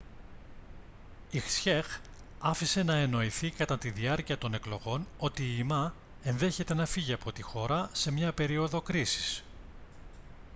η hsieh άφησε να εννοηθεί κατά τη διάρκεια των εκλογών ότι η ma ενδέχεται να φύγει από τη χώρα σε μια περίοδο κρίσης